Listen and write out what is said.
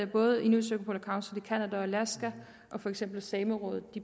både inuit circumpolar council i canada og alaska og for eksempel samerådet